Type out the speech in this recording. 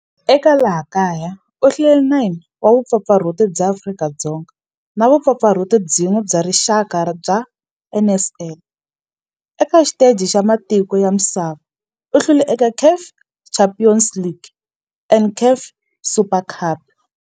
Eka laha kaya u hlule 9 wa vumpfampfarhuti bya Afrika-Dzonga na vumpfampfarhuti byin'we bya rixaka bya NSL. Eka xiteji xa matiko ya misava, u hlule eka CAF Champions League na CAF Super Cup.